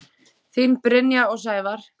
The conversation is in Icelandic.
Þín Brynja og Sævar.